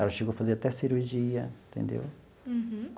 Ela chegou a fazer até cirurgia, entendeu? Uhum.